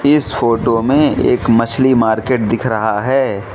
इस फोटो में एक मछली मार्केट दिख रहा है।